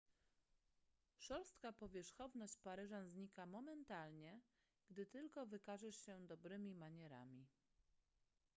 szorstka powierzchowność paryżan znika momentalnie gdy tylko wykażesz się dobrymi manierami